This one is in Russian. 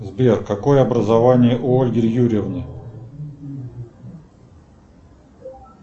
сбер какое образование у ольги юрьевны